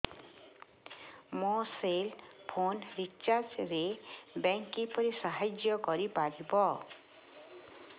ମୋ cell phone recharge ରେ bank କିପରି ସାହାଯ୍ୟ କରିପାରିବ